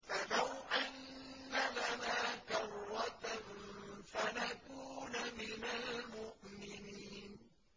فَلَوْ أَنَّ لَنَا كَرَّةً فَنَكُونَ مِنَ الْمُؤْمِنِينَ